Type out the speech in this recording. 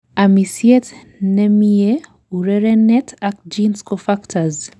amisiet nemie, urererenet ak genes ko factors